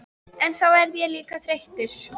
En þá verð ég líka þreyttur.